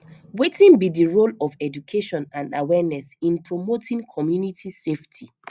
wetin be di role of education and awareness in promoting community safety